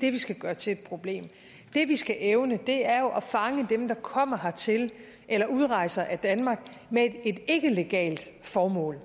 det vi skal gøre til et problem det vi skal evne er jo at fange dem der kommer hertil eller udrejser af danmark med et ikke legalt formål